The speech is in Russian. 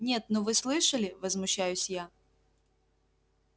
нет ну вы слышали возмущаюсь я